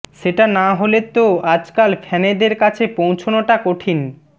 সেটা না হলে তো আজকাল ফ্যানেদের কাছে পৌঁছনোটা কঠিন